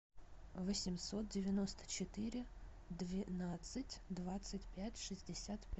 восемьсот девяносто четыре двенадцать двадцать пять шестьдесят